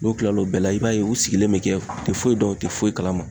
N'o kilal'o bɛɛ la i b'a ye u sigilen bɛ kɛ u te foyi dɔn u te foyi kalama